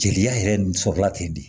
Jeliya yɛrɛ nin sɔrɔla ten de